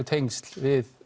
tengsl við